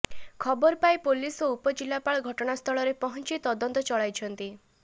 ଖବର ପାଇ ପୁଲିସ ଓ ଉପ ଜିଲ୍ଲାପାଳ ଘଟଣାସ୍ଥଳରେ ପହଞ୍ଚିି ତଦନ୍ତ ଚଳାଇଛନ୍ତି